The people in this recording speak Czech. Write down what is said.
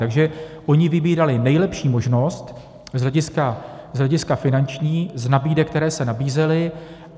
Takže oni vybírali nejlepší možnost z hlediska finanční z nabídek, které se nabízely.